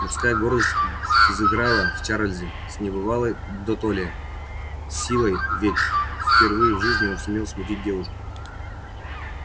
мужская гордость взыграла в чарлзе с небывалой дотоле силой ведь впервые в жизни он сумел смутить девушку